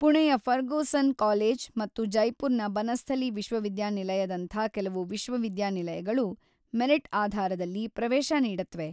ಪುಣೆಯ Fergusson college ಮತ್ತು ಜೈಪುರ್‌ನ ಬನಸ್ಥಲೀ ವಿಶ್ವವಿದ್ಯಾನಿಲಯದಂಥ ಕೆಲವು ವಿಶ್ವವಿದ್ಯಾನಿಲಯಗಳು ಮೆರಿಟ್‌ ಆಧಾರದಲ್ಲಿ ಪ್ರವೇಶ ನೀಡತ್ವೆ.